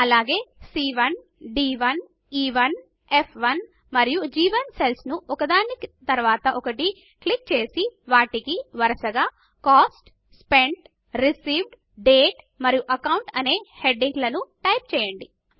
అలాగే C one D one E one F one మరియు గ్1 సెల్స్ ను ఒకదాని తరువాత ఒకటి క్లిక్ చేసి వాటికి వరుసగా కోస్ట్ స్పెంట్ రిసీవ్డ్ డేట్ మరియు అకౌంట్ అనే హెడింగ్ లను టైప్ చేయండి